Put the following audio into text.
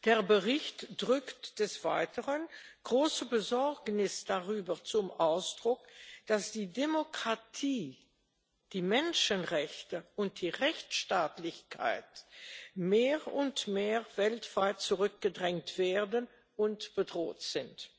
Der Bericht bringt des Weiteren große Besorgnis darüber zum Ausdruck, dass die Demokratie, die Menschenrechte und die Rechtsstaatlichkeit weltweit mehr und mehr zurückgedrängt werden und bedroht sind.